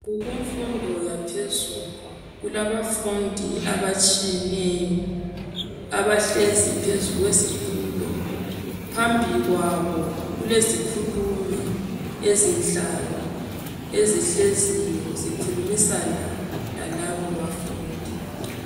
Kukumfundo yaphezulu. Kulabafundi abatshiyeneyo abahlezi phezu kwezitulo. Phambi kwabo kulezikhulumi ezinhlanu ezihleziyo zikhulumisana lalabo bafundi.